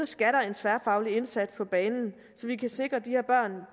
skal der en tværfaglig indsats på banen så vi kan sikre de her børn